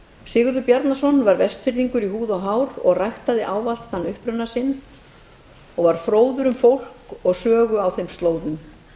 sigurður bjarnason var vestfirðingur í húð og hár ræktaði ávallt þann uppruna sinn og var fróður um fólk og sögu á þeim slóðum